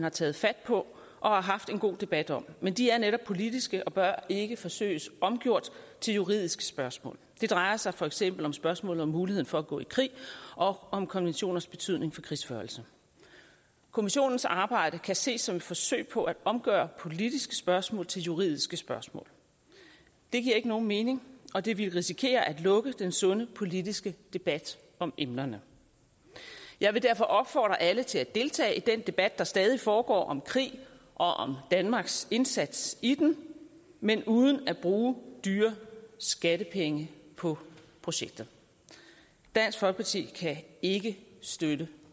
har taget fat på og haft en god debat om men de er netop politiske og bør ikke forsøges omgjort til juridiske spørgsmål det drejer sig for eksempel om spørgsmålet om muligheden for at gå i krig og om konventioners betydning for krigsførelse kommissionens arbejde kan ses som et forsøg på at omgøre politiske spørgsmål til juridiske spørgsmål det giver ikke nogen mening og det ville risikere at lukke den sunde politiske debat om emnerne jeg vil derfor opfordre alle til at deltage i den debat der stadig foregår om krig og om danmarks indsats i den men uden at bruge dyrebare skattepenge på projektet dansk folkeparti kan ikke støtte